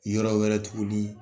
Yɔrɔ wɛrɛ tuguni